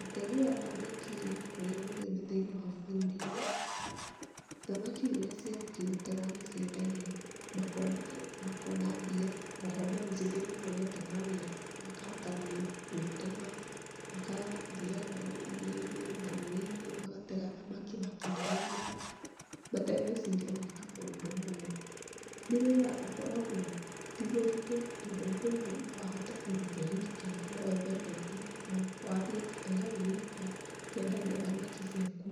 Ũtegi wa thamaki nĩ ũkũria mũnene thĩiniĩ wa bũrũri-inĩ. Thamaki rĩrĩa ciarĩkia gũtegwo nĩ ciendagio, makona mbia. O ho mbeũ njĩthĩ nĩmonete mawĩra, makahota gwĩtũma, magathiaga marĩ iria-inĩ, marũĩ-inĩ, magatega thamaki makĩendagia, matagwĩciria gwĩka maũndũ moru. Nĩ wĩra ũkoragwo tĩ mũritũ tondũ mũndũ no ahote kũruta e ike. No wethe neti, wambie gũtega wĩ ika, ũkendagia thamaki ciaku,